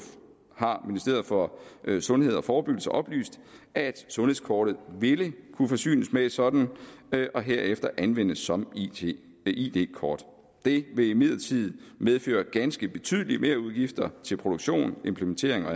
har ministeriet for sundhed og forebyggelse oplyst at sundhedskortet ville kunne forsynes med et sådant og herefter kunne anvendes som id kort det vil imidlertid medføre ganske betydelige merudgifter til produktion implementering og